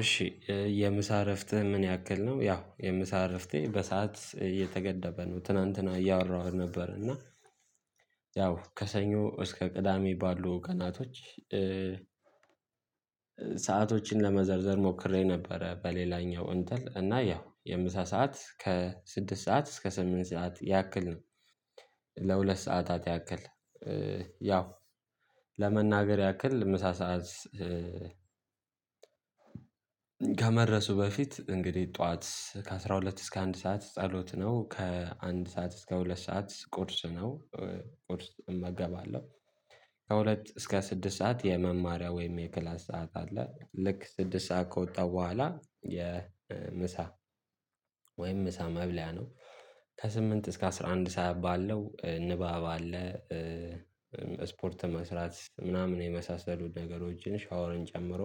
እሺ የምሳ እረፍት ምን ያክል ነው? ያው የምሳ እረፍቴ በሰአት እየተገደበ ነው ትናንትና እያወራሁ ነበር። እና ያው ከሰኞ እስከ ቅዳሜ ባሉ ቀናቶች። ሰአቶችን ለመዘርዘር ሞክሬ ነበረ በሌላኛው እንትን እና ያው የምሳ ሰዓት ከስድስት ሰዓት እስከ ሰምስት ሰዓት ያክል ነው። ለሁለት ሰዓታት ያክል ያው ለመናገር ያክል ምሳ ሰዓት። ከመድረሱ በፊት እንግዲህ ጠዋት ከአስራ ሁለት እስከ አንድ ሰዓት ጸሎት ነው። ከአንድ ሰዓት እስከ ሁለት ሰዓት ቁርስ ነው። ቁርስ እመገባለሁ። ከሁለት እስከ ስድስት ሰዓት የመማሪያ ወይም የክላስ ሰዓት አለ። ልክ ስድስት ሰዓት ከወጣሁ በኋላ የምሳ ወይም ምሳ መብያ ነው። ከስምንት እስከ አስራ አንድ ሰዓት ባለው ንባብ አለ። ስፖርት መስራት ምናምን የመሳሰሉ ነገሮችን ሻወርን ጨምሮ።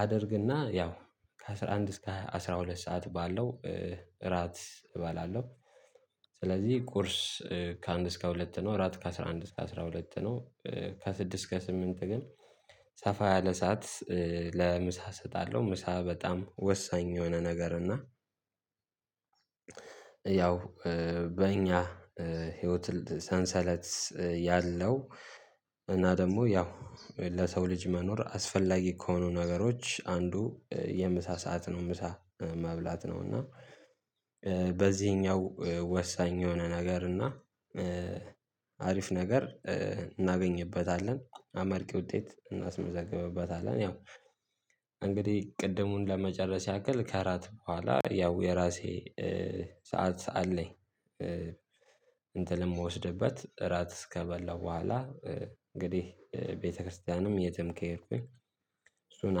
አደርግና ያው ከአስራ አንድ እስከ አስራ ሁለት ሰዓት ባለው እራት እባላለሁ። ስለዚህ ቁርስ ከአንድ እስከ ሁለት ነው። እራት ከአስራ አንድ እስከ አስራ ሁለት ነው። ከስድስት እስከ ስምንት ግን ሰፋ ያለ ሰዓት ለምሳ እሰጣለሁ ምሳ በጣም ወሳኝ የሆነ ነገር እና። ያው በእኛ ህይወት ሰንሰለት ያለው እና ደግሞ ያው ለሰው ልጅ መኖር አስፈላጊ ከሆኑ ነገሮች አንዱ የምሳ ሰዓት ነው። ምሳ መብላት ነው። እና በዚህኛው ወሳኝ የሆነ ነገር እና አሪፍ ነገር እናገኝበታለን አመርቂ ውጤት እናስመዘግብበታለን። ያው እንግዲህ ቅድሙን ለመጨረስ ያክል ከእራት በኋላ ያው የራሴ ሰዓት ሰዓት ላይ እንትን የምወስድበት ራት እስከበላው በኋላ። እንግዲህ ቤተክርስቲያንም የትም ከሄድኩኝ እሱን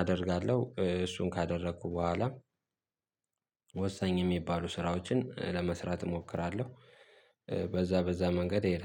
አደርጋለሁ እሱን ካደረኩ በኋላ። ወሳኝ የሚባሉ ስራዎችን ለመስራት እሞክራለሁ። በዛ በዛ መንገድ ሔዳለሁ